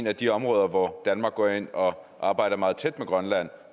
af de områder hvor danmark går ind og arbejder meget tæt med grønland